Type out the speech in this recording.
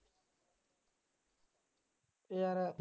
ਇਹ ਯਾਰ